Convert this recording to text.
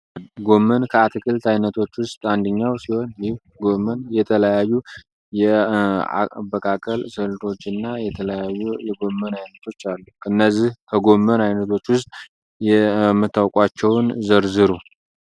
ጎመን ከአትክልት ዓይነቶች ውስጥ አንድኛው ሲሆን ይህ ጎመን የተለያዩ የበካከል ስልቶች እና የተለያዩ የጎመን አይነቶች አሉ። እነዚህ ከጎመን አይነቶች ውስጥ የመታውቋቸውን ዘርዝሩ?